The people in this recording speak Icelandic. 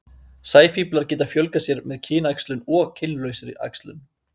Sæfíflar geta fjölgað sér bæði með kynæxlun og kynlausri æxlun.